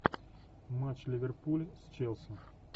матч ливерпуль челси